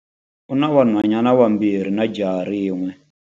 U na vanhwanyana vambirhi na jaha rin'we.